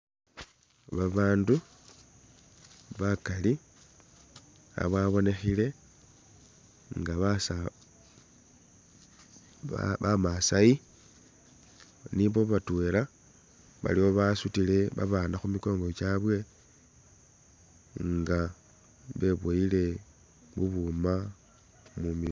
Babandu bakaali bababonekhile nga basa bamasaayi nibo batweela, baliwo babasutile babaana khumikongo gyaawe nga beboyile bubuuma mumilo